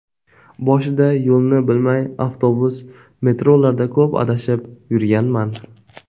Boshida yo‘lni bilmay avtobus, metrolarda ko‘p adashib yurganman.